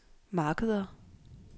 markeder